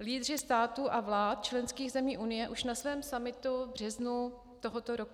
lídři států a vlád členských zemí Unie už na svém summitu v březnu tohoto roku.